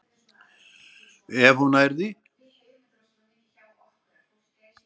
Ef hún nær því.